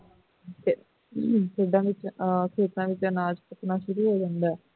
ਤੇ ਖੇਤਾਂ ਵਿੱਚ ਅਨਾਜ਼ ਪਕਣਾ ਸ਼ੁਰੂ ਹੋ ਜਾਂਦਾ ਹੈ